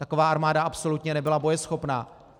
Taková armáda absolutně nebyla bojeschopná.